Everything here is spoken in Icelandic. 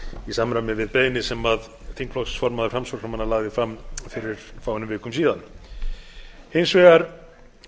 í samræmi við beiðni sem þingflokksformaður framsóknarmanna lagði fram fyrir fáeinum vikum hins vegar